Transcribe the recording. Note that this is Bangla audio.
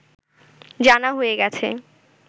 জানা হয়ে গেছে